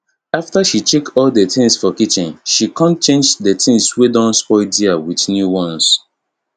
after she check all d things for kitchen she con change d tins wey don spoil der with new ones